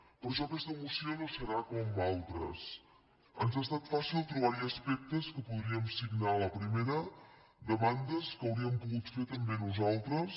per això aquesta moció no serà com altres ens ha estat fàcil trobar hi aspectes que podríem signar a la primera demandes que hauríem pogut fer també nosaltres